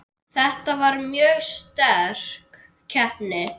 Þetta var mjög sterk keppni.